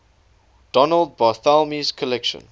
donald barthelme's collection